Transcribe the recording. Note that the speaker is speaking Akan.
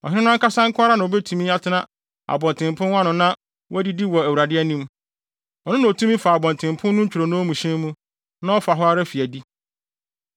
Ɔhene no ankasa nko ara na obetumi atena abɔntenpon no ano na wadidi wɔ Awurade anim. Ɔno na otumi fa abɔntenpon no ntwironoo mu hyɛn mu, na ɔfa hɔ ara fi adi.”